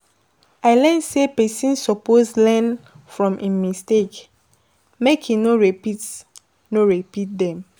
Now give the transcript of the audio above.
I learn sey pesin suppose learn from im mistakes, make e no repeat no repeat dem.